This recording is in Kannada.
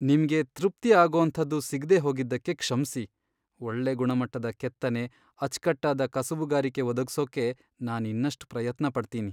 ನಿಮ್ಗೆ ತೃಪ್ತಿ ಆಗೋಂಥದ್ದು ಸಿಗ್ದೇ ಹೋಗಿದ್ದಕ್ಕೆ ಕ್ಷಮ್ಸಿ, ಒಳ್ಳೆ ಗುಣಮಟ್ಟದ ಕೆತ್ತನೆ, ಅಚ್ಕಟ್ಟಾದ ಕಸುಬುಗಾರಿಕೆ ಒದಗ್ಸೋಕೆ ನಾನ್ ಇನ್ನಷ್ಟ್ ಪ್ರಯತ್ನ ಪಡ್ತೀನಿ.